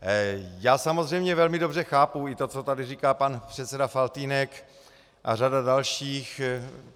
Já samozřejmě velmi dobře chápu i to, co tady říká pan předseda Faltýnek a řada dalších.